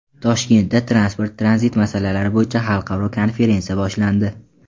Toshkentda transport-tranzit masalalari bo‘yicha xalqaro konferensiya boshlandi.